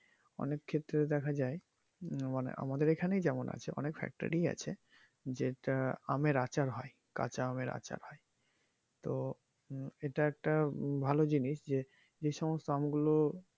অনেক ক্ষেত্রে দেখা যায় আমাদের এখানেই যেমন আছে অনেক factory ই আছে যেটা আমাদের আচার হয় কাচা আমের আচার হয় তো উম এটা একটা উম ভালো জিনিস যে, যে সমস্ত আমগুলো